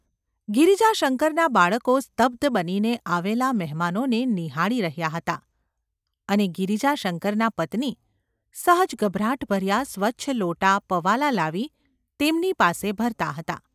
ગિરિજાશંકરનાં બાળકો સ્તબ્ધ બનીને આવેલા મહેમાનોને નિહાળી રહ્યાં હતાં, અને ગિરિજાશંકરનાં પત્ની સહજ ગભરાટ ભર્યાં સ્વચ્છ લોટા પવાલાં લાવી તેમની પાસે ભરતાં હતાં.